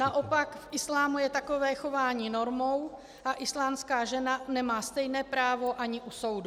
Naopak v islámu je takové chování normou a islámská žena nemá stejné právo ani u soudu.